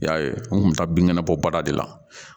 I y'a ye n kun bɛ taa binkɛnɛ bɔ bada de la